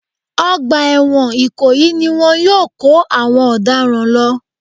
Ọgbà ẹ̀wọ̀n ìkòyí ni wọn yóò kó àwọn ọ̀daràn lọ